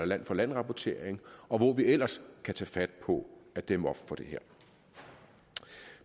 land for land rapportering og hvor vi ellers kan tage fat på at dæmme op for det her